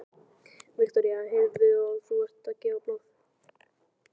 Viktoría: Heyrðu, og þú ert að gefa blóð?